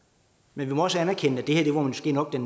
men vi må også anerkende at det her måske nok er